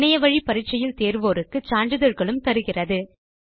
இணையத்தில் பரிட்சை எழுதி தேர்வோருக்கு சான்றிதழ்களும் தருகிறது